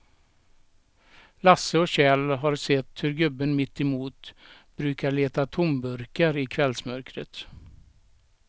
Lasse och Kjell har sett hur gubben mittemot brukar leta tomburkar i kvällsmörkret.